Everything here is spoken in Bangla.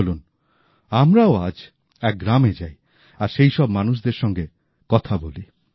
চলুন আমরাও আজ এক গ্রামে যাই আর সেই সব মানুষদের সঙ্গে কথা বলি